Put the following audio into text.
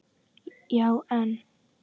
Já en.?